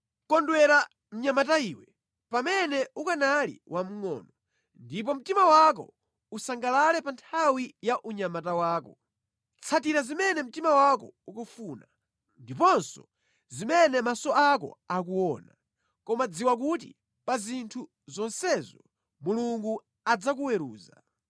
Kondwera mnyamata iwe, pamene ukanali wamngʼono, ndipo mtima wako usangalale pa nthawi ya unyamata wako. Tsatira zimene mtima wako ukufuna, ndiponso zimene maso ako akuona, koma dziwa kuti pa zinthu zonsezo Mulungu adzakuweruza.